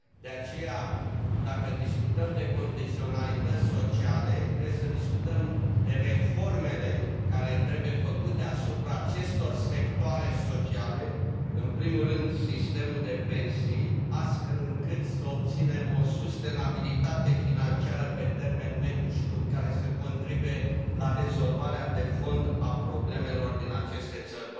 De aceea, dacă discutăm de condiționalități sociale, trebuie să discutăm despre reformele care trebuie făcute asupra acestor sectoare sociale, în primul rând sistemul de pensii, astfel încât să obținem o sustenabilitate financiară pe termen mediu și lung care să contribuie la rezolvarea de fond a problemelor din aceste țări.